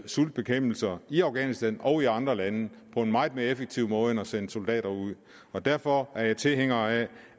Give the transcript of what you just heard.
sultbekæmpelse i afghanistan og i andre lande på en meget mere effektiv måde end at sende soldater ud derfor er jeg tilhænger af